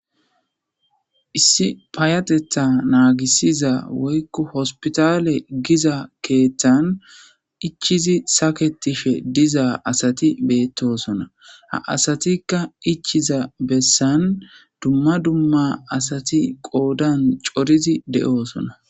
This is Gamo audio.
Issi payatetha naagisiza woykko hospitale giza keeththan ichizi saketife diza asati beettosona ha asatikka ichiza bessan dumma dumma asati qoodan corizi de'oosona